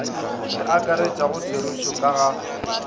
le akaretšago therešo ka ga